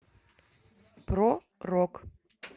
про рок